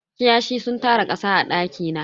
Kiyashi sun tara kasa a daki na.